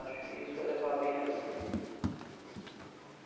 Acho que isso é levar bem a vida.